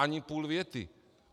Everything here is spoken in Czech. Ani půl věty.